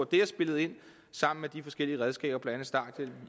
det har spillet ind sammen med de forskellige redskaber blandt andet starthjælpen